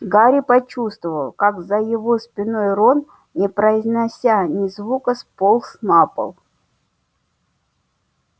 гарри почувствовал как за его спиной рон не произнося ни звука сполз на пол